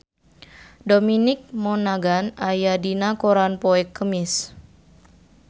Dominic Monaghan aya dina koran poe Kemis